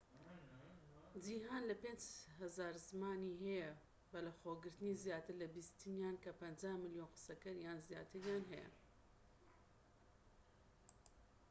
جیھان لە 5,000 زمانی هەیە بەلەخۆگرتنی زیاتر لە بیستیان کە 50 ملیۆن قسەکەر یان زیاتریان هەیە